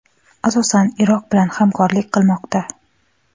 asosan Iroq bilan hamkorlik qilmoqda.